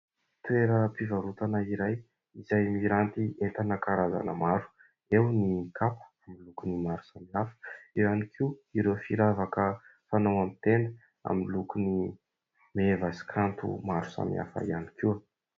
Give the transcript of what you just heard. Toeram-pivarotana iray izay miranty entana karazany maro : eo ny kapa amin'ny lokony maro samihafa, eo ihany koa ireo firavaka fanao amin'ny tenda amin'ny lokony meva sy kanto maro samihafa ihany koa.